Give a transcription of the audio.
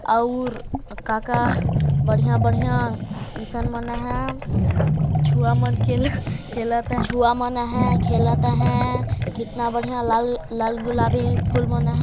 अऊर काका बढ़िया बढ़िया इंसान मन है छुआमन खेल खेलत है छुआमन है खेलत है कितना बढ़िया लाल लाल गुलाबी फुल मन --